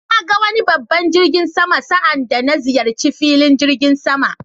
Na ga wani babban jirgin sama sa' anda na ziyarci filin jirigin sama.